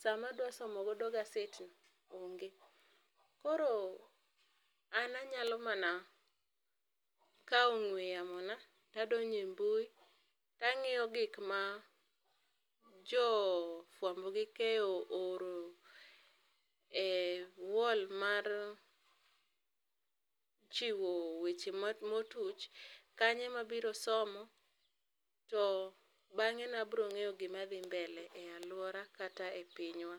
sa ma adwa somo godo gazed no onge. Koro an anyalo mana kawo ong'we yamo na to adonjo e mbui to angiyo gik ma jo fwambo gi keyo ooro e wall mar chiwo e weche ma ma otuch kanyo ema abiro somo to bang'e abiro ng'eyo gi ma dhi mbele e aluora kata e pinywa.